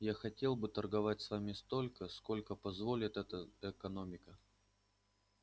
я хотел бы торговать с вами столько сколько позволит это экономика